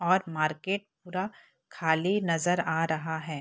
और मार्केट पूरा खाली नजर आ रहा है।